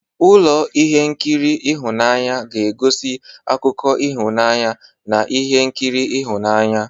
Ụlọ ihe nkiri ịhụnanya na-egosi akụkọ ịhụnanya na ihe nkiri ịhụnanya.